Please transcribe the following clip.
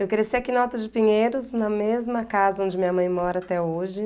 Eu cresci aqui na Alta de Pinheiros, na mesma casa onde minha mãe mora até hoje.